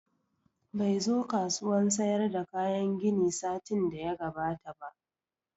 Bai zo kasuwan sayar da kayan gini satin da ya gabata ba